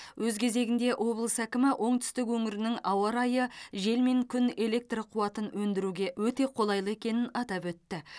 өз кезегінде облыс әкімі оңтүстік өңірінің ауа райы жел мен күн электр қуатын өндіруге өте қолайлы екенін атап өтті